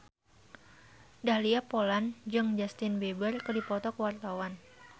Dahlia Poland jeung Justin Beiber keur dipoto ku wartawan